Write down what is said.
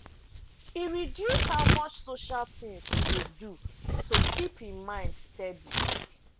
e reduce how much social things e dey do to keep him mind steady.